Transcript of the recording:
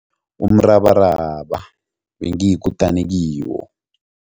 Umrabaraba bengiyikutani kiwo.